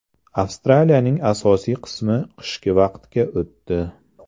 Avstraliyaning asosiy qismi qishki vaqtga o‘tdi.